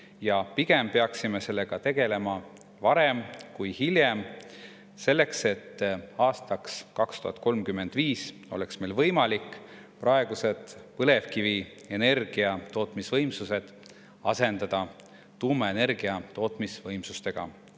Ja pigem peaksime sellega tegelema varem kui hiljem, selleks et aastaks 2035 oleks meil võimalik praegused põlevkivienergia tootmisvõimsused asendada tuumaenergia tootmisvõimsustega.